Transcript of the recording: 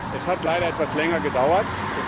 Es hat leider etwas länger gedauert.